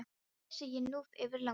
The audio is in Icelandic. Það vissi ég nú fyrir löngu.